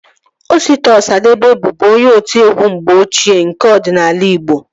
Osita Ọsadebe bụbu onye otiegwu mgbe ochie nke ọdịnala igbo